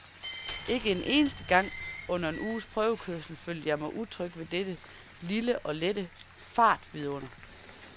Ikke en eneste gang under en uges prøvekørsel følte jeg mig utryg ved dette lille og lette fartvidunder.